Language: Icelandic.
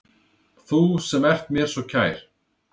Þú sem ert mér svo kær.